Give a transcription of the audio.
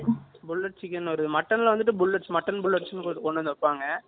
bullets chicken ஒரு mutton ல வந்துட்டு bullets mutton bullets கொண்டு வந்து வைப்பாங்க